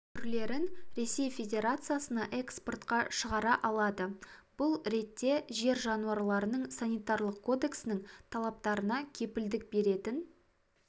түрлерін ресей федерациясына эспортқа шығар алады бұл ретте жер жануарларының санитарлық кодексінің талаптарына кепілдік беретін